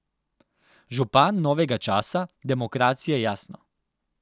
Župan novega časa, demokracije, jasno.